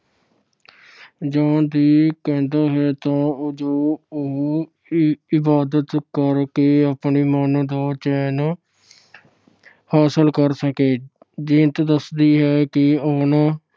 ਜਾਣ ਲਈ ਕਹਿੰਦਾ ਹੈ ਤਾਂ ਜੋ ਉਹ ਇ ਅਹ ਇਬਾਦਤ ਕਰਕੇ ਆਪਣੇ ਮਨ ਦਾ ਚੈਨ ਹਾਸਲ ਕਰ ਸਕੇ। ਜੀਨਤ ਦੱਸਦੀ ਹੈ ਕਿ ਉਹਨਾਂ